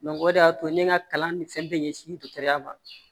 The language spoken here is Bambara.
o de y'a to ne ka kalan ni fɛn bɛɛ ɲɛsin dɔ ya ma